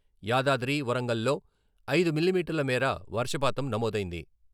యాదాద్రి, వరంగల్లో ఐదు మిల్లీమీటర్ల మేర వర్షపాతం నమోదైంది.